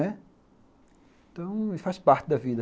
Então, faz parte da vida.